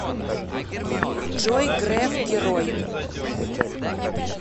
джой греф герой